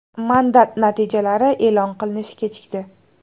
Mandat natijalari e’lon qilinishi kechikdi.